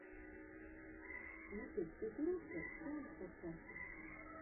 ютуб газировка саунд подкаст